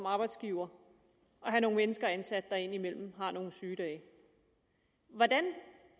arbejdsgivere at have mennesker ansat der indimellem har nogle sygedage hvordan